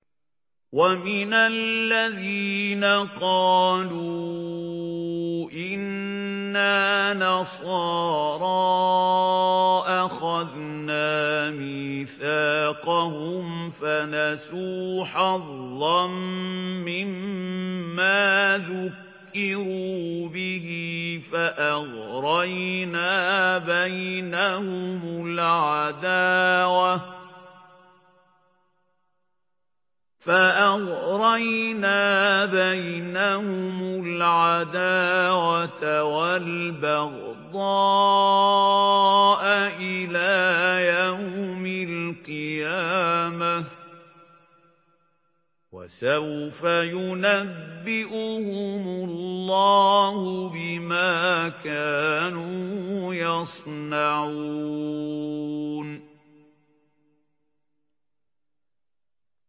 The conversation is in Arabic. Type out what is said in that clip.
وَمِنَ الَّذِينَ قَالُوا إِنَّا نَصَارَىٰ أَخَذْنَا مِيثَاقَهُمْ فَنَسُوا حَظًّا مِّمَّا ذُكِّرُوا بِهِ فَأَغْرَيْنَا بَيْنَهُمُ الْعَدَاوَةَ وَالْبَغْضَاءَ إِلَىٰ يَوْمِ الْقِيَامَةِ ۚ وَسَوْفَ يُنَبِّئُهُمُ اللَّهُ بِمَا كَانُوا يَصْنَعُونَ